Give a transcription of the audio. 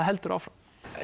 heldur áfram